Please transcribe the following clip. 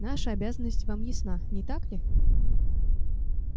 наша обязанность вам ясна не так ли